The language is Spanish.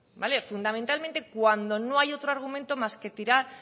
fundamentalmente cuando no hay otro argumento más que tirar